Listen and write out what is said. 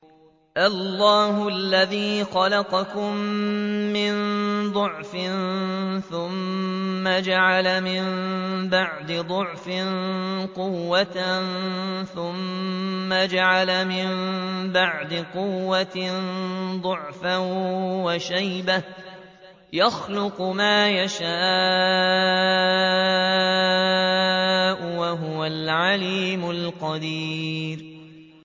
۞ اللَّهُ الَّذِي خَلَقَكُم مِّن ضَعْفٍ ثُمَّ جَعَلَ مِن بَعْدِ ضَعْفٍ قُوَّةً ثُمَّ جَعَلَ مِن بَعْدِ قُوَّةٍ ضَعْفًا وَشَيْبَةً ۚ يَخْلُقُ مَا يَشَاءُ ۖ وَهُوَ الْعَلِيمُ الْقَدِيرُ